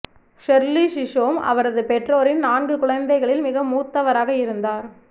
Shirley Chisholm அவரது பெற்றோரின் நான்கு குழந்தைகளில் மிக மூத்தவராக இருந்தார்